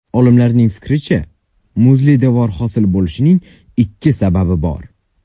Olimlarning fikricha, muzli devor hosil bo‘lishining ikki sababi bor.